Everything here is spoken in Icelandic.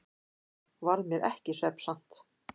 Varð mér ekki svefnsamt.